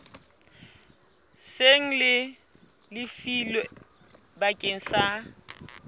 seng le lefilwe bakeng sa